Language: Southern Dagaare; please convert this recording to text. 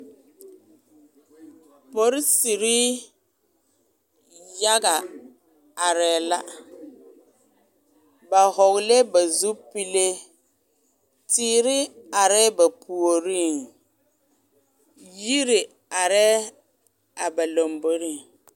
Polisiri yaga arɛɛ la ba hɔglɛɛ ba zupile teere arɛɛ ba puoriŋ yiri arɛɛ a ba lamboriŋ.